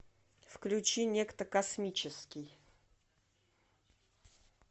включи некто космический